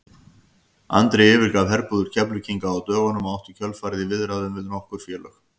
Andri yfirgaf herbúðir Keflvíkinga á dögunum og átti í kjölfarið í viðræðum við nokkur félög.